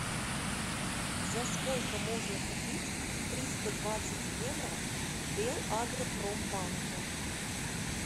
за сколько можно купить триста двадцать евро в белагропромбанке